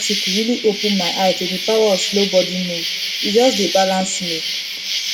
that health article really open my eye to the power of slow body move e just balance me